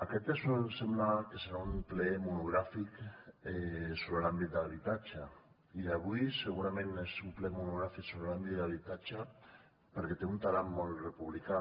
aquest sembla que serà un ple monogràfic sobre l’àmbit de l’habitatge i avui segurament és un ple monogràfic sobre l’àmbit d’habitatge perquè té un talant molt republicà